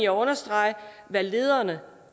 understrege hvad lederne